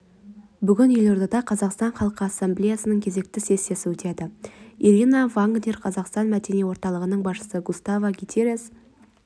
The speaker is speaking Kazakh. бүгін елордада қазақстан халқы ассамблеясының кезекті сессиясы өтеді ирина вагнер қазақстан мәдени орталығының басшысы густаво гутиерез